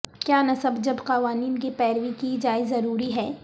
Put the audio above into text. کیا نصب جب قوانین کی پیروی کی جائے ضروری ہے